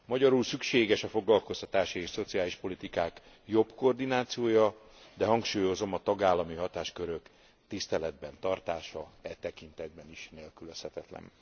Magyarul szükséges a foglalkoztatási és szociális politikák jobb koordinációja, de hangsúlyozom, a tagállami hatáskörök tiszteletben tartása e tekintetben is nélkülözhetetlen.